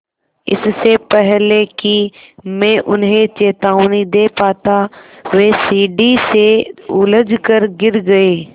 इससे पहले कि मैं उन्हें चेतावनी दे पाता वे सीढ़ी से उलझकर गिर गए